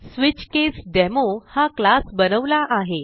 SwitchCaseDemo हा class बनवला आहे